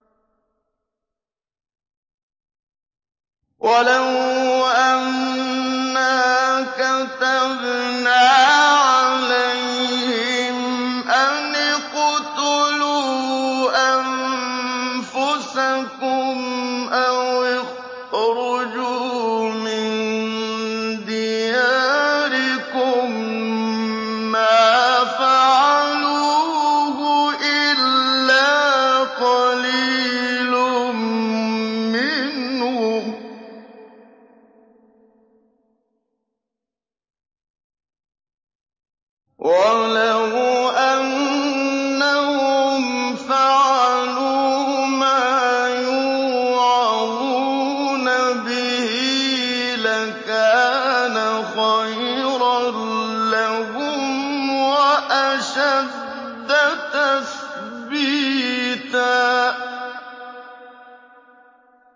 وَلَوْ أَنَّا كَتَبْنَا عَلَيْهِمْ أَنِ اقْتُلُوا أَنفُسَكُمْ أَوِ اخْرُجُوا مِن دِيَارِكُم مَّا فَعَلُوهُ إِلَّا قَلِيلٌ مِّنْهُمْ ۖ وَلَوْ أَنَّهُمْ فَعَلُوا مَا يُوعَظُونَ بِهِ لَكَانَ خَيْرًا لَّهُمْ وَأَشَدَّ تَثْبِيتًا